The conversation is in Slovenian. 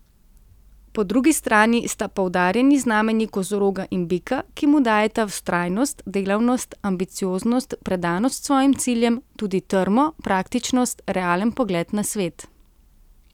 Po drugi strani sta poudarjeni znamenji kozoroga in bika, ki mu dajeta vztrajnost, delavnost, ambicioznost, predanost svojim ciljem, tudi trmo, praktičnost, realen pogled na svet.